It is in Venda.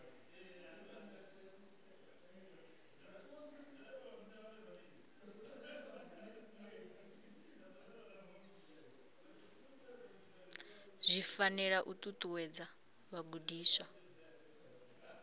zwi fanela u ṱuṱuwedza vhagudiswa